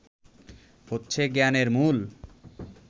হচ্ছে জ্ঞানের মূল